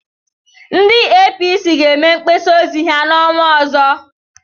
Ndị APC ga-eme mgbasa ozi ha n'ọnwa ọzọ.